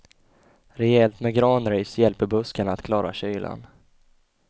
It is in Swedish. Rejält med granris hjälper buskarna att klara kylan.